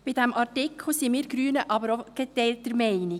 Bei diesem Artikel sind wir Grünen aber auch geteilter Meinung.